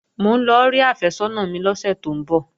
Mò ń lọ rí àfẹ́sọ́nà mi lọ́sẹ̀ tó ń bọ̀